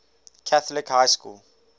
catholic high school